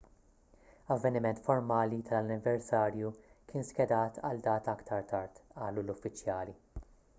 avveniment formali tal-anniversarju kien skedat għal data aktar tard qalu l-uffiċjali